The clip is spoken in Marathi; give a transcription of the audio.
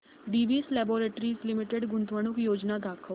डिवीस लॅबोरेटरीज लिमिटेड गुंतवणूक योजना दाखव